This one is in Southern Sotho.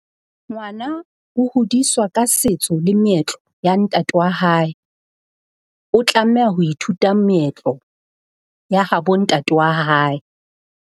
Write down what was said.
Ngwana o hodiswa ka setso le meetlo ya ntate wa hae. O tlameha ho ithuta meetlo ya habo ntate wa hae.